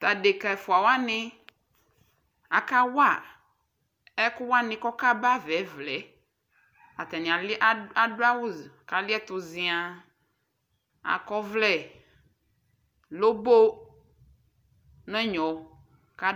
tʋ adɛka ɛƒʋa wani aka wa ɛkʋ wani kʋ ɔka ba aɣa ɛvlaɛ atani adʋ awʋ kʋ aliɛtʋ ziaa, akɔ ɔvlɛ lɔbɔɔ nʋ ɛnyɔ